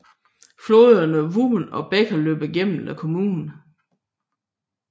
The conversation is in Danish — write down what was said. Floderne Wümme og Beeke løber gennem kommunen